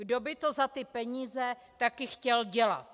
Kdo by to za ty peníze taky chtěl dělat.